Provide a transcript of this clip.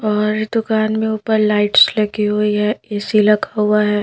और दुकान में ऊपर लाइट्स लगी हुई है ए_सी लगा हुआ है।